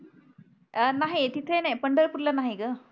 अ नाही तिथे नाही पंढरपूरला नाही ग